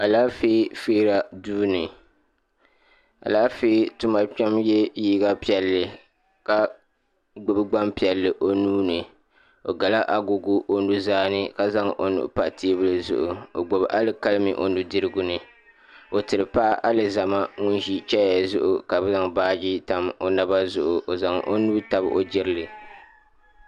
Alaafee feera duuni alaafee tuma kpema ye liiga piɛlli ka gbibi gbaŋ piɛlli o nuuni o gala agogo o nuzaa ni ka zaŋ o nuhi pa teebuli zuɣu o gbibi alikalimi o nudirigu ni o tiri paɣa alizama ŋun ʒi cheya zuɣu ka zaŋ baaji tam o naba zuɣu o zaŋ o nuu tabi o jirili.